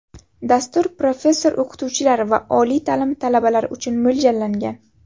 Dastur professor-o‘qituvchilar va oliy ta’lim talabalari uchun mo‘ljallangan.